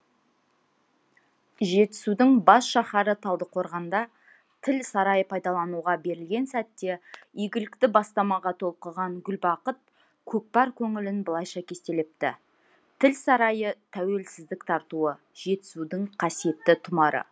жетісудың бас шаһары талдықорғанда тіл сарайы пайдалануға берілген сәтте игілікті бастамаға толқыған гүлбақыт көкпар көңілін былайша кестелепті тіл сарайы тәуелсіздік тартуы жетісудың қасиетті тұмары